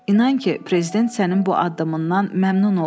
İnan ki, Prezident sənin bu addımından məmnun olar.